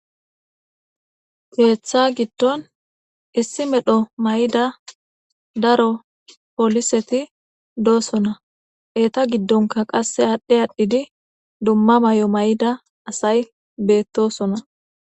Keetha gidon issi medho mayida daro poliseti dosona. Eta gidonka qase adhi adhid dumma mayo mayida asayi betosona.